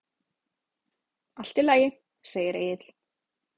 Allt í lagi, segir Egill.